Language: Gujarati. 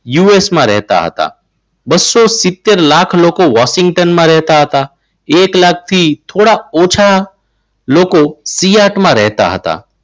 યુએસમાં રહેતા હતા. બસો સિત્તેર લાખ લોકો વોશિંગ્ટનમાં રહેતા હતા. એક લાખથી થોડા ઓછા લોકો સિયાટમાં રહેતા હતા.